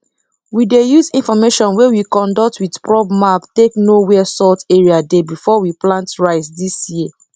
we dey use information wey we conduct with probe map take know where salt area dey before we plant rice dis year